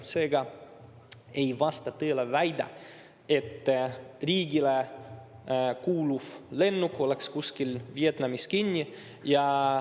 Seega ei vasta tõele väide, et riigile kuuluv lennuk oleks kuskil Vietnamis kinni.